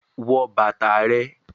Put on your shoes